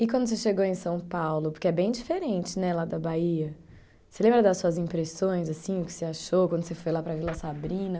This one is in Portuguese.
E quando você chegou em São Paulo, porque é bem diferente né lá da Bahia, você lembra das suas impressões, assim, o que você achou quando você foi lá para a Vila Sabrina?